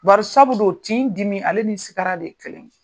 Barisabu dun tin dimi ale ni sigara de ye kelen ye.